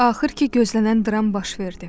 Axır ki gözlənilən dram baş verdi.